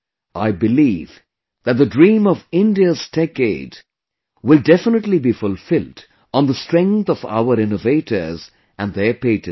I believe that the dream of India's Techade will definitely be fulfilled on the strength of our Innovators and their Patents